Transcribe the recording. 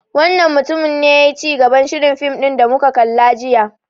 Wannan mutumin ne yayi cigaban shirin fim da muka kalla jiya.